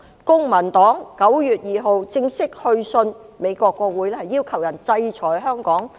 公民黨在9月2日正式去信美國國會，要求他們制裁香港。